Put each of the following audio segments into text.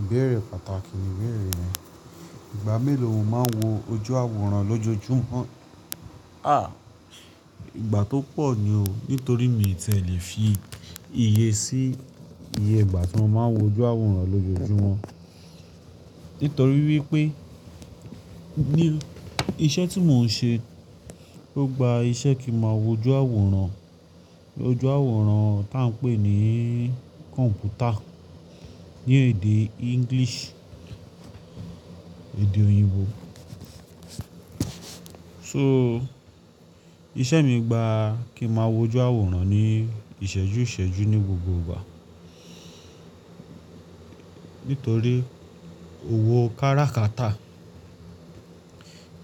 Ìbéèrè pàtàkì ni ìbéèrè yẹn. Ìgbà mélòó mo máa ń wo ojú àwòrán lójoojúmọ́? À, ìgbà tó pọ̀ ni o. Nítorí mi tìẹ lè fi iye sí iye ìgbà tí mo máa ń wo ojú àwòrán lójoojúmọ́. Nítorí wípé, ní iṣẹ́ tí mò ń ṣe ló gba iṣẹ́ kí máa wo ojú àwòrán, ojú àwòrán tá ń pè ní computer ní èdè English, èdè òyìnbó. So, iṣẹ́ mi gba kí máa wo ojú àwòrán ní ìṣẹ́jú ìṣẹ́jú ní gbogbo ìgbà. Nítorí òwò kárakátà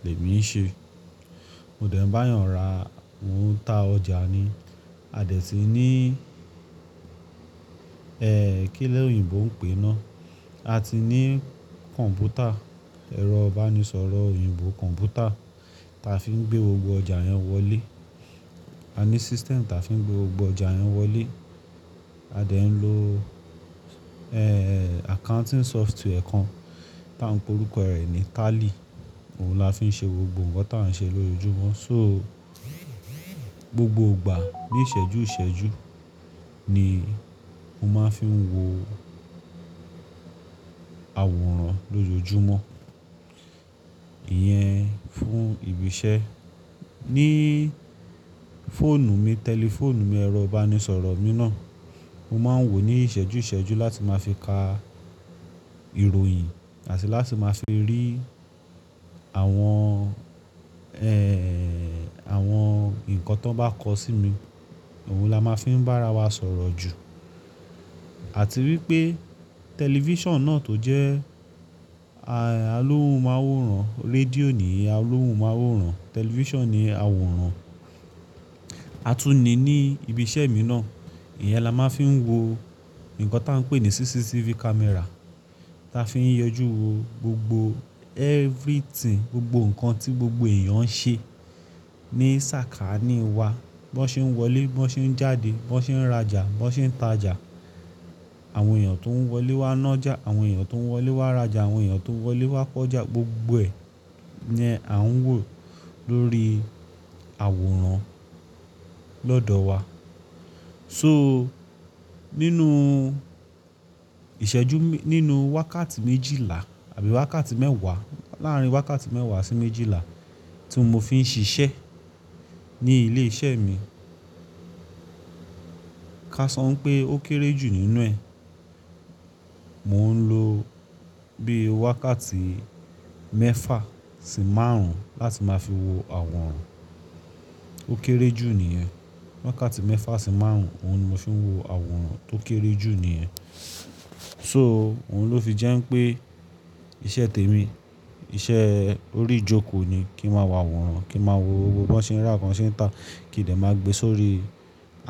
lèmi ń ṣe. Mò dẹ̀ ń bá èèyàn ra, mò ń ta ọjà ni. A dẹ̀ ti ní, ẹ́ kí lòyìnbó ń pè ná? A ti ní computer, ẹ̀rọ ìbánisọ̀rọ̀ òyìnbó computer, ta fi ń gbé gbogbo ọjà yẹn wọlé. A ní system ta fi ń gbé gbogbo ọjà yẹn wọlé. A dẹ̀ ń lo, ẹ́, accounting software kan tá ń pe orúkọ rẹ̀ ní tally. Òun la fi ń ṣe gbogbo nǹkan tá ń ṣe lójoojúmọ́. So, gbogbo ìgbà ní ìṣẹ́jú ìṣẹ́jú ni mo máa ń fi ń wo àwòrán lójoojúmọ́. Iyẹn fún ibi iṣẹ́. Ní fóònù mi, tẹlifóònù mi, ẹ̀rọ ìbánisọ̀rọ̀ mi náà, mo máa ń wò ní ìṣẹ́jú ìṣẹ́jú láti máa fi ka ìròyìn àti láti máa fi rí àwọn, ẹ́, àwọn nǹkan tó bá kọ sí mi. Òun la máa ń fi ń bá ara wa sọ̀rọ̀ jù. Àti wípé tẹlifíṣàn náà tó jẹ́, a, alóhun máa ń wòran, rédíò ni alóhun máa ń wòran, tẹlifíṣàn ni àwòrán. A tún ní ní ibi iṣẹ́ mi náà, ìyẹń là máa ń fi ń wo nǹkan tá ń pè ní CCTV camera. Ta fi ń yọjú wo gbogbo everything, gbogbo nǹkan tí gbogbo èèyàn ń ṣe ní sàkání wa. Bí wọ́n ṣe ń wọlé, bí wọ́n ṣe ń jáde, bí wọ́n ṣe ń rajà, bí wọ́n ṣe ń tajà. Àwọn èèyàn tó ń wọlé wá nájà, àwọn èèyàn tó ń wọlé wá rajà, àwọn èèyàn tó ń wọlé wá ko'ọ́jà, gbogbo ẹ ní a ń wò lórí àwòrán lọ́dọ̀ wa. So, nínú ìṣẹ́jú, nínú wákàtí méjìlá àbí wákàtí mẹ́wàá, láàárín wákàtí mẹ́wàá sí méjìlá tí mo fi ń ṣiṣẹ́ ní ilé iṣẹ́ mi, ká sọ pé ó kéré jù nínú ẹ. Òun la fi ń ṣe gbogbo nǹkan tá ń ṣe lójoojúmọ́. So, gbogbo ìgbà ní ìṣẹ́jú ìṣẹ́jú ni mo máa ń fi ń wo àwòrán lójoojúmọ́. Ó kéré jù nìyẹn. Wákàtí mẹ́fa sí márùn-ún òun ni mo fi ń wo àwòrán tó kéré jù nìyẹn. So, òun ló fi jẹ́ pé iṣẹ́ tèmi, iṣẹ́ orí ìjókòó ni kí máa wá àwòrán, kí máa wo gbogbo bí wọ́n ṣe ń rà, kan ṣe ń ta, kí n lè máa gbe sórí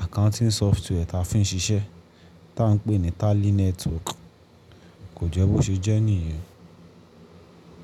accounting software ta fi ń ṣiṣẹ́ tá ń pè ní tally network. Kò jẹ́ bó ṣe jẹ́ nìyẹn.